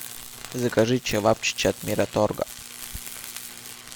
закажи чевапчичи от мираторга